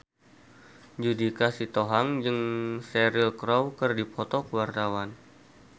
Judika Sitohang jeung Cheryl Crow keur dipoto ku wartawan